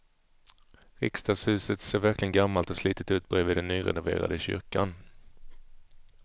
Riksdagshuset ser verkligen gammalt och slitet ut bredvid den nyrenoverade kyrkan.